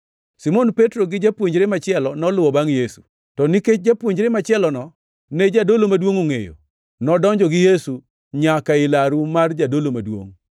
Simon Petro gi japuonjre machielo noluwo bangʼ Yesu. To nikech japuonjre machielono ne jadolo maduongʼ ongʼeyo, nodonjo gi Yesu nyaka ei laru mar jadolo maduongʼ,